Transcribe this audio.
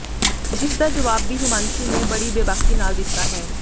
ਜਿਸ ਦਾ ਜਵਾਬ ਵੀ ਹਿਮਾਂਸ਼ੀ ਨੇ ਬੜੀ ਬੇਬਾਕੀ ਨਾਲ ਦਿੱਤਾ ਹੈ